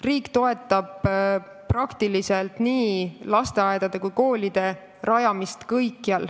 Riik toetab kõikjale nii lasteaedade kui ka koolide rajamist.